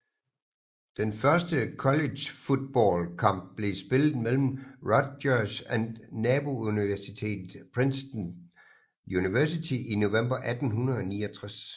Den første college football kamp blev spillet mellem Rutgers og nabouniversitetet Princeton University i november 1869